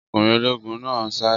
Ọkùnrin ológun náà ń sáré